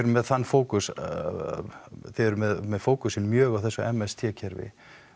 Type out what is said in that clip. með þann fókus þið eruð með fókusinn mjög á þessu m s t kerfi